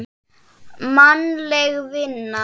Mannleg vinna